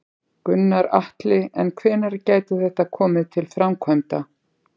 Gunnar Atli: En hvenær gæti þetta komið til framkvæmda?